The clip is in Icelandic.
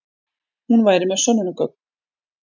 Hún væri með sönnunargögn.